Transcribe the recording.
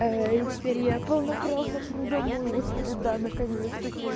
и теперь я полноправно иду домой господи да наконец-то